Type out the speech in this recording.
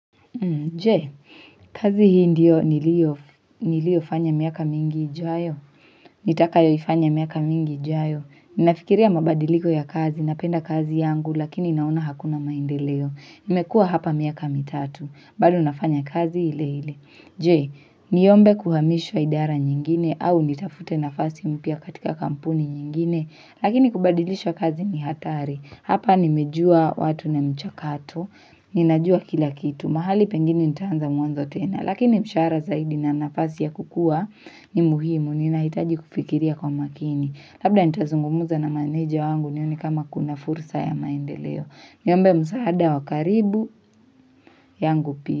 Je, kazi hii ndio nilio fanya miaka mingi ijayo, nitakayo ifanya miaka mingi ijayo, ninafikiria mabadiliko ya kazi, napenda kazi yangu, lakini naona hakuna maendeleo, nimekuwa hapa miaka mitatu, bado nafanya kazi ile ile. Je, niombe kuhamishwa idara nyingine au nitafute nafasi mpya katika kampuni nyingine, lakini kubadilisha kazi ni hatari. Hapa nimejua watu na michakato, ninajua kila kitu, mahali pengine nitaanza mwanzo tena, lakini mshahara zaidi na nafasi ya kukua ni muhimu, ninahitaji kufikiria kwa makini. Labda nitazungumza na meneja wangu nione kama kuna fursa ya maendeleo. Niombe msaada wakaribu, yangu pia.